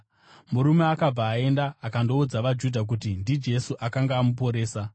Murume akabva akaenda akandoudza vaJudha kuti ndiJesu akanga amuporesa.